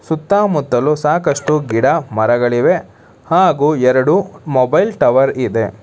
ಸುತ್ತಾ ಮುತ್ತಲೂ ಸಾಕಷ್ಟು ಗಿಡ ಮರಗಳಿವೆ ಹಾಗೂ ಎರಡು ಮೊಬೈಲ್ ಟವರ್ ಇದೆ.